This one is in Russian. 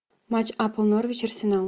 матч апл норвич арсенал